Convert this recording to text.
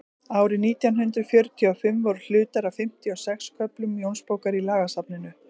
árið nítján hundrað fjörutíu og fimm voru hlutar af fimmtíu og sex köflum jónsbókar í lagasafninu